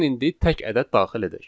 Gəlin indi tək ədəd daxil edək.